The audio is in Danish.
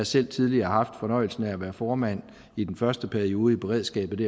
selv tidligere haft fornøjelsen af at være formand i den første periode i beredskabet